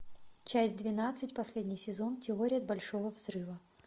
часть двенадцать последний сезон теория большого взрыва